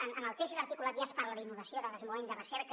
en el text i l’articulat ja es parla d’innovació de desenvolupament de recerca